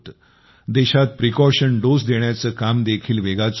देशात सावधगिरीची मात्रा देण्याचे काम देखील वेगात सुरु आहे